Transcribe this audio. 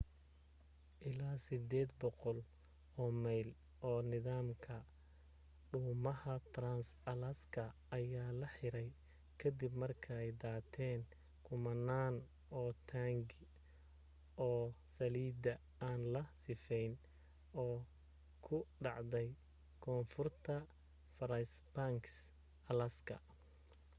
ilaa 800 oo mayl oo nidaamka dhuumaha trans-alaska ayaa la xiray ka dib markay daateen kumanaan oo taangi oo saliida aan la sifeynin au ka dhacday koonfurta fairbanks alaska